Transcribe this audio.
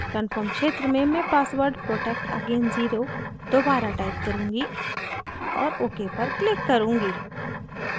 confirm क्षेत्र में मैं password protectagain0 दोबारा टाइप करुँगी और ok पर click करुँगी